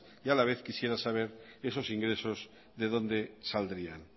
y a la vez quisiera saber esos ingresos de donde saldrían